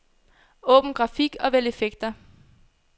Åbn grafik og vælg effekter.